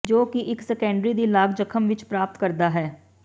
ਜੋ ਕਿ ਇੱਕ ਸੈਕੰਡਰੀ ਦੀ ਲਾਗ ਜ਼ਖ਼ਮ ਵਿੱਚ ਪ੍ਰਾਪਤ ਕਰਦਾ ਹੈ